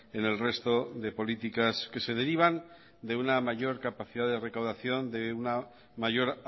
en el resto de políticas que se derivan de una mayor capacidad de recaudación de una mayor